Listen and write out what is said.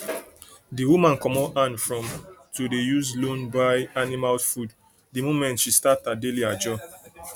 the woman comot hand from to dey use loan buy animal food the moment she start her daily ajo